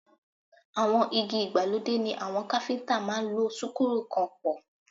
Àwọn igi ìgbàlódé ni àwọn káfíntà máa ń lo súkúrù kàn pọ̀.